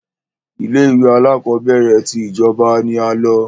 Ilé ìwé alákọ̀berẹ̀ tí ìjọba ní a lọ.